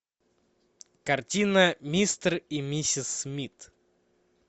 картина мистер и миссис смит